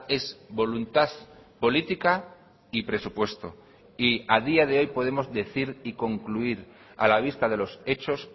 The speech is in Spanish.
es voluntad política y presupuesto y a día de hoy podemos decir y concluir a la vista de los hechos